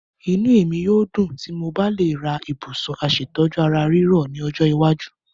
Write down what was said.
Inú mi a dùn tí mo bá le ra ibùsùn aṣètọ́jú ara ríro ní ọjọ́ iwájú.